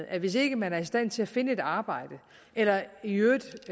at hvis ikke man er i stand til at finde et arbejde eller i øvrigt